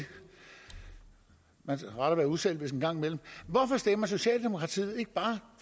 rart at være uselvisk en gang imellem hvorfor stemmer socialdemokratiet ikke bare